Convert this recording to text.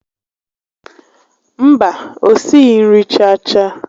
Mba, o sighi nri chaa chaa